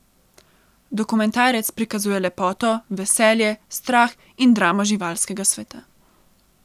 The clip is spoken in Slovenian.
Dokumentarec prikazuje lepoto, veselje, strah in dramo živalskega sveta.